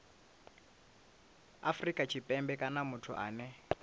afrika tshipembe kana muthu ane